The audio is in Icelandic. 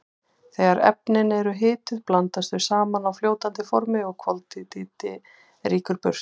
Þegar efnin eru hituð blandast þau saman á fljótandi formi og koltvíildi rýkur burt.